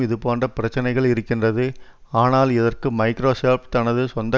இதுபோன்ற பிரச்சனைகள் இருக்கின்றது ஆனால் இதற்கு மைக்ரோசொப்ட் தனது சொந்த